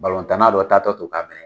dɔ tatɔ to k'a mɛnɛ.